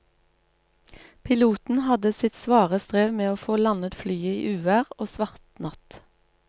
Piloten hadde sitt svare strev med å få landet flyet i uvær og svart natt.